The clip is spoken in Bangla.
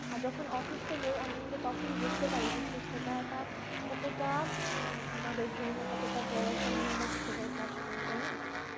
আর যখন অসুস্থ হয় তখন আমি আমরা কিন্তু তখন বুঝতে পারি যে সুস্থতাটা কতটা উম আমাদের জন্য কতটা বড় একটা নেয়ামত হিসেবে কাজ করে তাই না